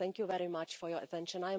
Thank you very much for your attention.